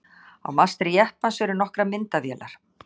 á mastri jeppans eru nokkrar myndavélar